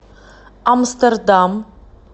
амстердам